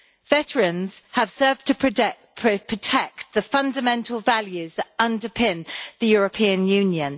Veterans have served to protect the fundamental values that underpin the European Union.